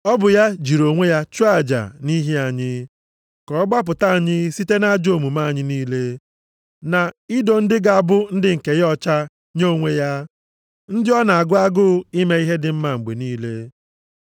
Ọ bụ ya jiri onwe ya chụọ aja nʼihi anyị, ka ọ gbapụta anyị site nʼajọ omume anyị niile, na ido ndị ga-abụ ndị nke ya ọcha nye onwe ya, ndị ọ na-agụ agụụ ime ihe dị mma mgbe niile.